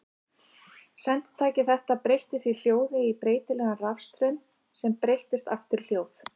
Senditæki þetta breytti því hljóði í breytilegan rafstraum sem breyttist aftur í hljóð.